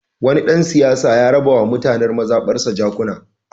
Wani ɗan siyasa ya raba wa mutanen mazaɓarsa jakuna.